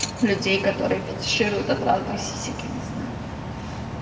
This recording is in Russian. людей которые фитишируют от разных сисек я не знаю